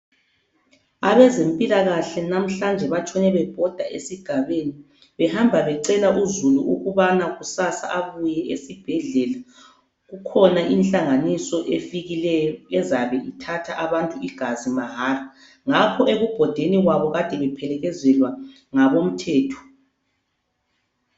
Abezempilakahle namhlanje batshone bebhoda esigabeni behamba becela uzulu ukubana kusasa abuye esibhedlela kukhona inhlanganiso efikileyo ezabe ithatha abantu igazi mahala ngakho ekubhodeni kwabo kade bephelekezelwa ngabo mthetho.